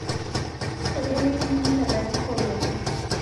Keibelekenyita lalikoroni